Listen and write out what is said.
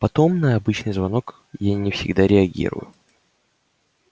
потом на обычный звонок я не всегда реагирую